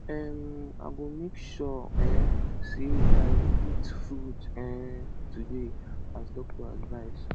um i go make sure um sey i eat fruit um today as doctor advice